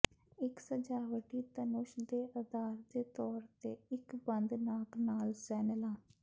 ਇੱਕ ਸਜਾਵਟੀ ਧਨੁਸ਼ ਦੇ ਅਧਾਰ ਦੇ ਤੌਰ ਤੇ ਇੱਕ ਬੰਦ ਨਾਕ ਨਾਲ ਸੈਨਲਾਂ